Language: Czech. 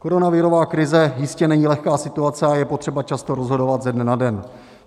Koronavirová krize jistě není lehká situace a je potřeba často rozhodovat ze dne na den.